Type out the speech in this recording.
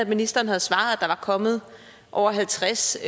ministeren havde svaret at der kommet over halvtreds